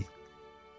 Ay!